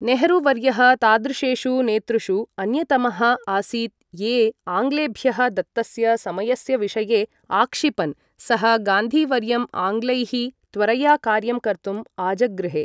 नेहरू वर्यः तादृशेषु नेतृषु अन्यतमः आसीत् ये आङ्ग्लेभ्यः दत्तस्य समयस्य विषये आक्षिपन्, सः गान्धी वर्यम् आङ्ग्लैः त्वरया कार्यं कर्तुम् आजगृहे।